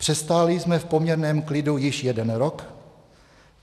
Přestáli jsme v poměrném klidu již jeden rok;